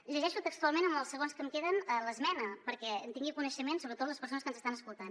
llegeixo textualment amb els segons que em queden l’esmena perquè en tinguin coneixement sobretot les persones que ens estan escoltant